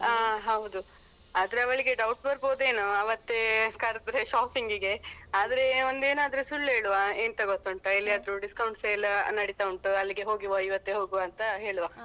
ಅಹ್ ಹೌದು ಆದ್ರೆ ಅವಳಿಗೆ ಡೌಟ್ ಬರ್ಬೋದೇನೋ ಆವತ್ತೆ ಕರ್ದ್ರೆ shopping ಗೆ ಆದ್ರೆ ಒಂದ್ ಏನಾದ್ರು ಸುಳ್ಳು ಹೇಳುವ ಎಂತ ಗೊತ್ತುಂಟ ಎಲ್ಲಿಯಾದ್ರು discount sale ನಡಿತ ಉಂಟು ಅಲ್ಲಿಗೆ ಹೋಗುವ ಇವತ್ತೆ ಹೋಗುವ ಅಂತ ಹೇಳುವ.